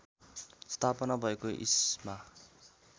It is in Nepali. स्थापना भएको इस्मा